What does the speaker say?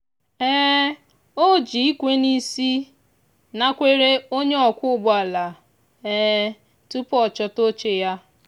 o ji ikwe n'isi nakwere onye ọkwọ ụgbọala tupu ọ chọta oche ya.